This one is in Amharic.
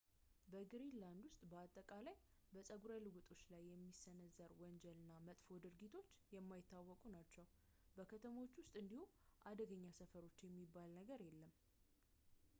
በግሪንላንድ ውስጥ በአጠቃላይ በፀጉረ ልውጦች ላይ የሚሰነዘር ወንጀል እና መጥፎ ድርጊቶች የማይታወቁ ናቸው በከተሞች ውስጥ እንዲሁ አደገኛ ሰፈሮች የሚባል ነገር የለም